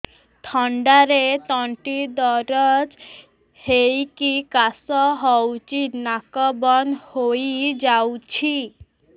ଥଣ୍ଡାରେ ତଣ୍ଟି ଦରଜ ହେଇକି କାଶ ହଉଚି ନାକ ବନ୍ଦ ହୋଇଯାଉଛି